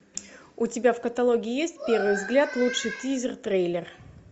у тебя в каталоге есть первый взгляд лучший тизер трейлер